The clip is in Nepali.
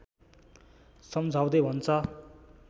सम्झाउँदै भन्छ